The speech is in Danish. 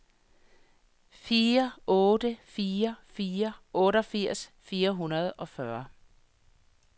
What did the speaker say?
fire otte fire fire otteogfirs fire hundrede og fyrre